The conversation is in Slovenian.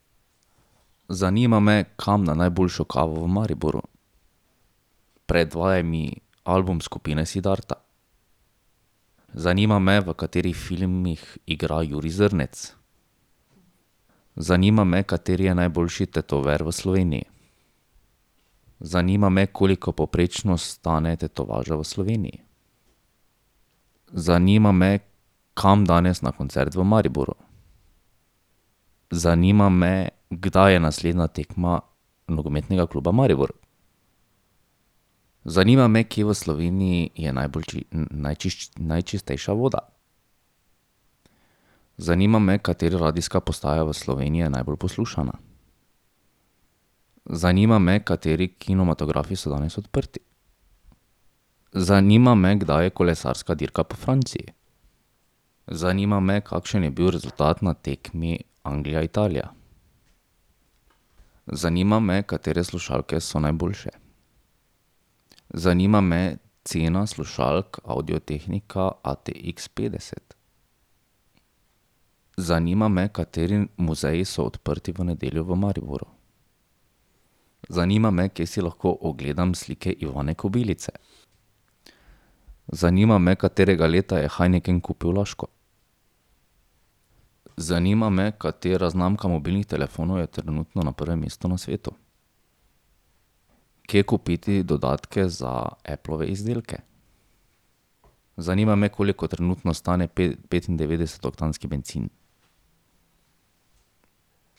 Zanima me, kam na najboljšo kavo v Mariboru. Predvajaj mi album skupine Siddharta. Zanima me, v katerih filmih igra Jurij Zrnec. Zanima me, kateri je najboljši tetover v Sloveniji. Zanima me, koliko povprečno stane tetovaža v Sloveniji. Zanima me, kam danes na koncert v Mariboru. Zanima me, kdaj je naslednja tekma Nogometnega kluba Maribor. Zanima me, kje v Sloveniji je najbolj najčistejša voda. Zanima me, katera radijska postaja v Sloveniji je najbolj poslušana. Zanima me, kateri kinematografi so danes odprti. Zanima me, kdaj je kolesarska dirka po Franciji. Zanima me, kakšen je bil rezultat na tekmi Anglija-Italija. Zanima me, katere slušalke so najboljše. Zanima me cena slušalk Audio-Technica ATX petdeset. Zanima me, kateri muzeji so odprti v nedeljo v Mariboru. Zanima me, kje si lahko ogledam slike Ivane Kobilice. Zanima me, katerega leta je Heineken kupil Laško. Zanima me, katera znamka mobilnih telefonov je trenutno na prvem mestu na svetu. Kje kupiti dodatke za Applove izdelke? Zanima me, koliko trenutno stane petindevetdesetoktanski bencin.